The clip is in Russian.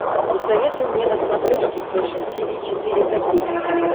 посоветуй мне на смотрешке фэшн ти ви четыре ка